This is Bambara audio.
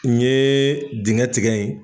N ye dingɛ tigɛ ye.